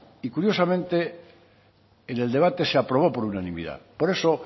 y curiosamente en el debate se aprobó por unanimidad por eso